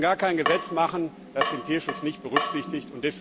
Wir dürfen gar kein Gesetz machen, das den Tierschutz nicht berücksichtigt.